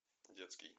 детский